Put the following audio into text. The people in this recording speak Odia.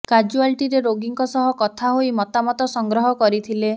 କାଜୁଆଲିଟିରେ ରୋଗୀଙ୍କ ସହ କଥା ହୋଇ ମତାମତ ସଂଗ୍ରହ କରିଥିଲେ